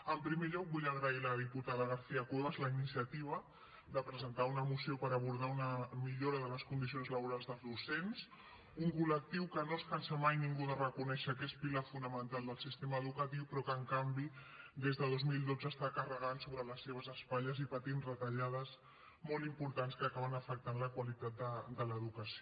en primer lloc vull agrair a la diputada garcía cuevas la iniciativa de presentar una moció per abordar una millora de les condicions laborals dels docents un col·lectiu que no es cansa mai ningú de reconèixer que és pilar fonamental del sistema educatiu però que en canvi des de dos mil dotze està carregant sobre les seves espatlles i patint les retallades molt importants que acaben afectant la qualitat de l’educació